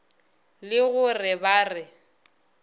le go re ba re